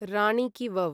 राणि कि वव्